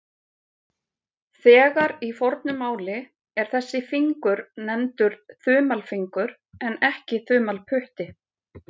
Þegar í fornu máli er þessi fingur nefndur þumalfingur en ekki þumalputti.